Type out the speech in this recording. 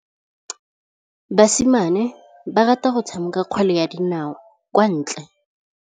Basimane ba rata go tshameka kgwele ya dinaô kwa ntle.